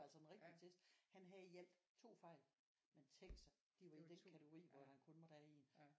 Altså den rigtige test han havde i alt 2 fejl men tænk sig det var jo i den kategori hvor han kun måtte have 1